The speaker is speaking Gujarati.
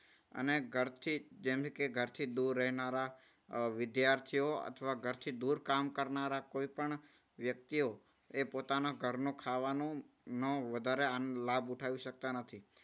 અને ઘરથી જેમણે ઘરથી દૂર રહેનારા અમ વિદ્યાર્થીઓ અથવા ઘરથી દૂર જોબ કરનારા કોઈ પણ વ્યક્તિઓ એ પોતાના ઘરનું ખાવાનું નો વધારે લાભ ઉઠાવી શકતા નથી.